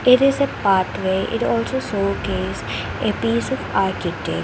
there is a path way it also showcase a piece of architect.